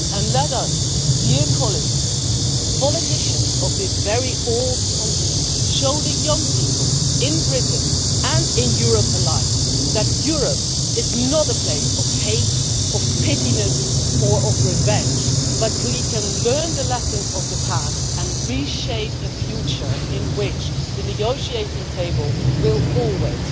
Let us, dear colleagues, politicians of this very old continent, show the young people in Britain and in Europe alike that Europe is not a place of hate, of pettiness or of revenge, but that we can learn the lessons of the past and reshape a future in which the negotiating table will always,